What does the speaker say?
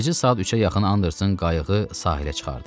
Gecə saat 3-ə yaxın Andersonun qayığı sahilə çıxardı.